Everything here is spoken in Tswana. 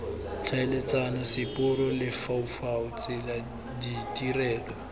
tlhaeletsano seporo lefaufau tsela ditirelo